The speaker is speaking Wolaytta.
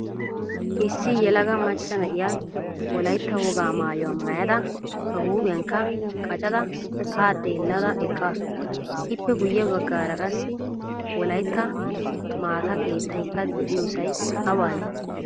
Issi yelaga macca na'iya wolaytta wogaa maayuwaa maayda ba huuphphiyankka qaccada ha xeellada eqqasu. Ippe guye baggaara qassi wolaytta maataa keettaykka de'iyosay awane?